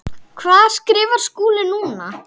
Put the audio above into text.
Hvað skrifar Skúli núna?